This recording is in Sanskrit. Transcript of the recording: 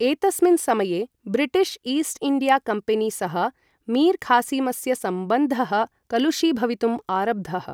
एतस्मिन् समये, ब्रिटिश् ईस्ट् इण्डिया कम्पेनी सह मीर् खासिमस्य सम्बन्धः कलुषीभवितुम् आरब्धः।